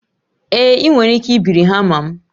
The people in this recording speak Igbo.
Ee, ị nwere ike ibiri hama m